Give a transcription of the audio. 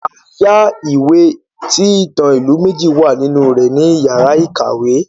A yá ìwé tí ìtàn ilu méjì wà nínú rẹ̀ ní iyàrá ìkàwé.